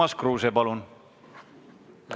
Urmas Kruuse, palun!